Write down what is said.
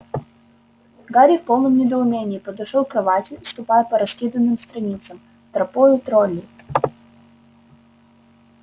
гарри в полном недоумении подошёл к кровати ступая по раскиданным страницам тропою троллей